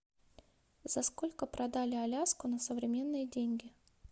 за сколько продали аляску на современные деньги